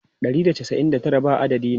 Ɗari da casa'in da tara ba adadi ne.